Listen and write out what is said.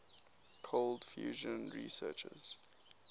cold fusion researchers